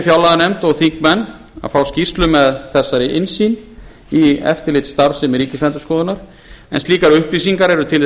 fjárlaganefnd og þingmenn að fá skýrslu með þessari innsýn í eftirlitsstarfsemi ríkisendurskoðunar en slíkar upplýsingar eru til þess fallnar